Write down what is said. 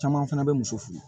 Caman fana bɛ muso fe ye